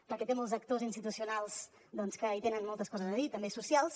perquè té molts actors institucionals que hi tenen moltes coses a dir també socials